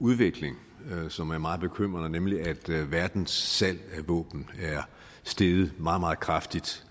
udvikling som er meget bekymrende nemlig at verdens salg af våben er steget meget meget kraftigt